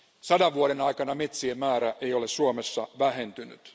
100 vuoden aikana metsien määrä ei ole Suomessa vähentynyt.